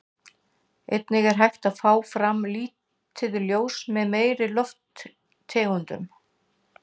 Einnig er hægt að fá fram lituð ljós með fleiri lofttegundum.